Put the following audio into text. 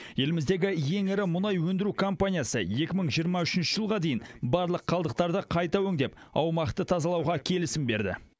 еліміздегі ең ірі мұнай өндіру компаниясы екі мың жиырма үшінші жылға дейін барлық қалдықтарды қайта өңдеп аумақты тазалауға келісім берді